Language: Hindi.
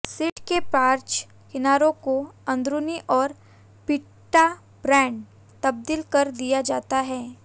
शीट के पार्श्व किनारों को अंदरूनी और पिटा ब्रेड तब्दील कर दिया जाता है